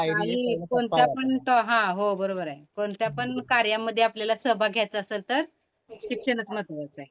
पायरी की कोणत्या पण त, हं हो बरोबर आहे. कोणत्यापण कार्यामध्ये आपल्याला सहभाग घ्यायचा असल तर शिक्षणच महत्वाचं आहे.